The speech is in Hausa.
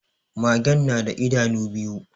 Magen na da idanu biyu